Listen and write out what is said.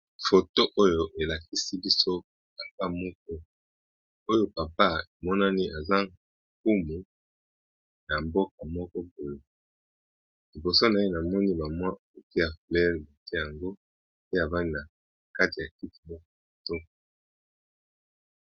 F oto oyo elakisi biso papa moko oyo papa emonani aza nkumu na mboko moko boye liboso na ye na moni la mwa ukia flele bete yango pe avani na kati ya kiki mok moto.